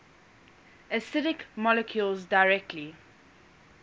acidic molecules directly